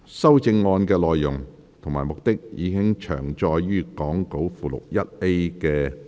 修正案的內容及目的，已詳載於講稿附錄 1A 的列表。